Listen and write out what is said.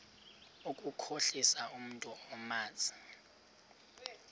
ukukhohlisa umntu omazi